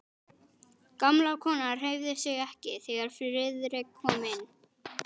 Gamla konan hreyfði sig ekki, þegar Friðrik kom inn.